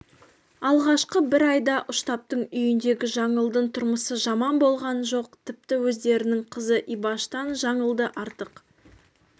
алғашқы бір айда ұштаптың үйіндегі жаңылдың тұрмысы жаман болған жоқ тіпті өздерінің қызы ибаштан жаңылды артық